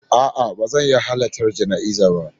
A'a, ba zan iya halartar jana'izar ba